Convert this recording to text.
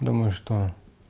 думаю что